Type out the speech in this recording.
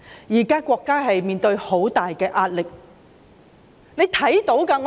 現時國家面對很大壓力，是大家也看到的。